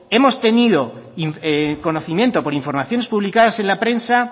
hemos tenido conocimiento por informaciones publicadas en la prensa